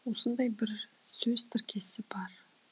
осындай бір сөз тіркесі бар